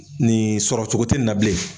Nin sɔrɔ cogo tɛ nin na bilen.